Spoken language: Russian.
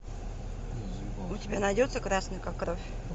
у тебя найдется красный как кровь